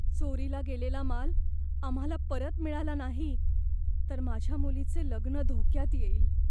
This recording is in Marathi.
चोरीला गेलेला माल आम्हाला परत मिळाला नाही तर माझ्या मुलीचे लग्न धोक्यात येईल